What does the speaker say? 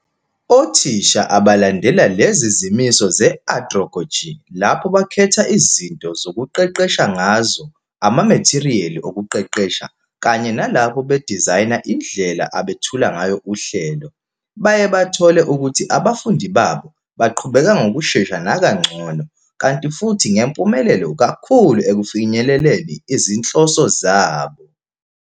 Othisha abalandela lezi zimiso ze-androgogy lapho bekhetha izinto zokuqeqesha ngazo, amametheriyali okuqeqesha, kanye nalapho bedizayina indlela abethula ngayo uhlelo, bayebathole ukuthi abafundi babo baqhubeka ngokushesha nakangcono, kanti futhi ngempumelelo kakhulu ekufinyeleleni izinhloso zabo.